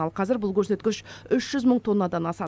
ал қазір бұл көрсеткіш үш жүз мың тоннадан асады